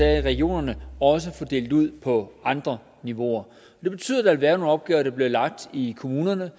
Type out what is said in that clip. er i regionerne også fordelt ud på andre niveauer det betyder at være nogle opgaver der bliver lagt i kommunerne